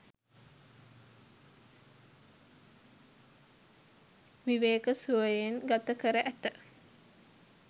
විවේක සුවයෙන් ගත කර ඇත.